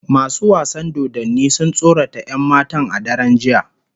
Masu wasan dodanni sun tsorata 'yan matan a daren jiya